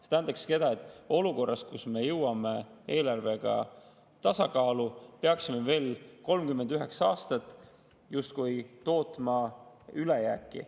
See tähendakski seda, et olukorras, kus me jõuame eelarvega tasakaalu, peaksime me veel 39 aastat tootma justkui ülejääki.